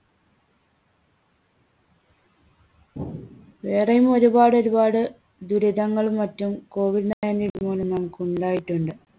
വേറെയും ഒരുപാട് ഒരുപാട് ദുരിതങ്ങളും മറ്റും കോവിഡ് nineteen മൂലം നമുക്കുണ്ടായിട്ടുണ്ട്.